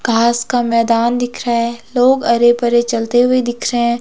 घास का मैदान दिख रहा है लोग अरे परे चलते हुए दिख रहे हैं।